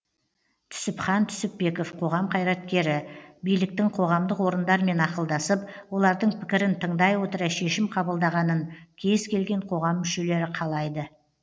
түсіпхан түсіпбеков қоғам қайраткері биліктің қоғамдық орындармен ақылдасып олардың пікірін тыңдай отыра шешім қабылдағанын кез келген қоғам мүшелері қалайды